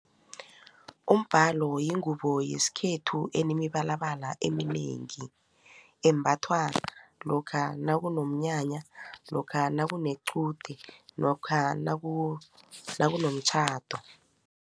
Umbhalo yingubo yesikhethu enemibalabala eminengi embathwa lokha nakunomnyanya lokha nakunequde lokha nakunomtjhado.